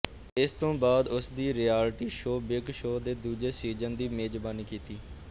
ਇਸ ਤੋਂ ਬਾਅਦ ਉਸ ਦੀ ਰਿਐਲਿਟੀ ਸ਼ੋਅ ਬਿੱਗ ਬੌਸ ਦੇ ਦੂਜੇ ਸੀਜ਼ਨ ਦੀ ਮੇਜ਼ਬਾਨੀ ਕੀਤੀ